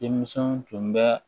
Denmisɛnw tun bɛ